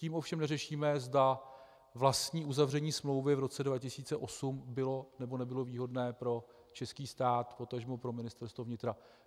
Tím ovšem neřešíme, zda vlastní uzavření smlouvy v roce 2008 bylo, nebo nebylo výhodné pro český stát, potažmo pro Ministerstvo vnitra.